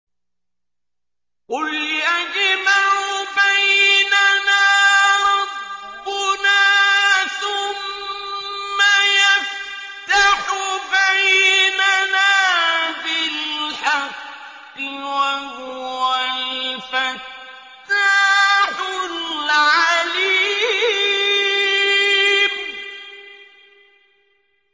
قُلْ يَجْمَعُ بَيْنَنَا رَبُّنَا ثُمَّ يَفْتَحُ بَيْنَنَا بِالْحَقِّ وَهُوَ الْفَتَّاحُ الْعَلِيمُ